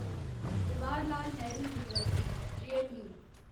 Jawaharlal Nehru university JNU